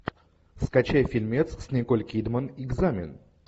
скачай фильмец с николь кидман экзамен